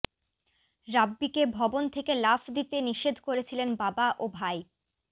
রাব্বিকে ভবন থেকে লাফ দিতে নিষেধ করেছিলেন বাবা ও ভাই